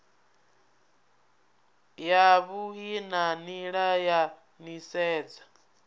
yavhui na nila ya nisedzo